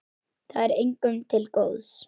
Það er engum til góðs.